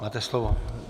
Máte slovo.